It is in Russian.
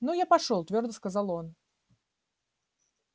ну я пошёл твёрдо сказал он